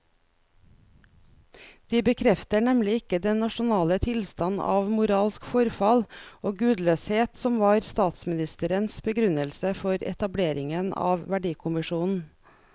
De bekrefter nemlig ikke den nasjonale tilstand av moralsk forfall og gudløshet som var statsministerens begrunnelse for etableringen av verdikommisjonen.